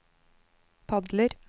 padler